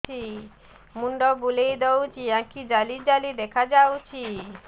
ମୁଣ୍ଡ ବୁଲେଇ ଦଉଚି ଆଖି ଜାଲି ଜାଲି ଦେଖା ଯାଉଚି